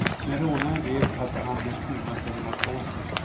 När rånaren greps hade han de stulna pengarna på sig.